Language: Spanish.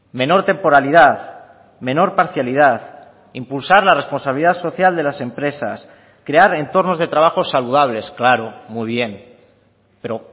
menor temporalidad menor parcialidad impulsar la responsabilidad social de las empresas crear entornos de trabajo saludables claro muy bien pero